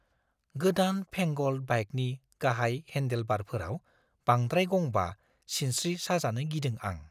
गोदान-फेंगोल्ड बाइकनि गाहाय हेन्डेलबारफोराव बांद्राय गंबा‌ सिनस्रि साजानो‌ गिदों आं।